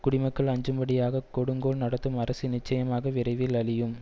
குடிமக்கள் அஞ்சும்படியாகக் கொடுங்கோல் நடத்தும் அரசு நிச்சயமாக விரைவில் அழியும்